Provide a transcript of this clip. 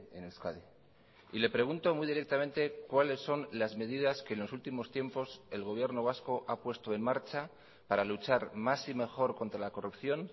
en euskadi y le pregunto muy directamente cuáles son las medidas que en los últimos tiempos el gobierno vasco ha puesto en marcha para luchar más y mejor contra la corrupción